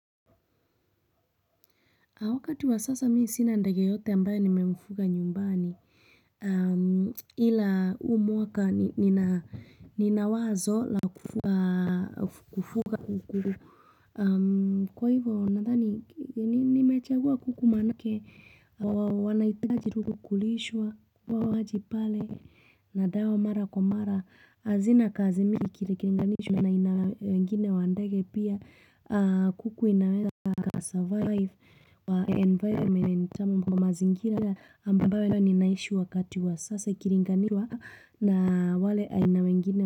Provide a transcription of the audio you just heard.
Wakati wa sasa mi sina ndege yeyote ambaye nimemfuga nyumbani. Ila huu mwaka nina wazo la kufuga kuku. Kwa hivyo, naDhani, nimechagua kuku maanake. Wanahitaji tu kukulishwa, na dawa mara kwa mara. Hazina kazi mingi ikilinganishwa na aina wengine wa ndege pia kuku inaweza ikasurvive. Kwa environment ama mazingira ambayo ninaishi wakati wa sasa ikilinganiwa na wale aina wengine.